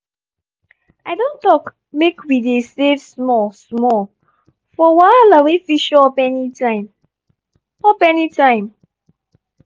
i don talk make we dey save small-small for wahala wey fit show up anytime. up anytime.